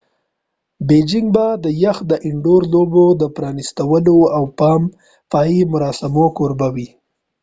بیجنګ به د يخ د انډور لوبو د پرانیستلو او پای مراسمو کوربه وي